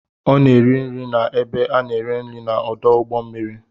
Ọ na-eri nri na ebe a na-ere nri na ọdụ ụgbọ mmiri.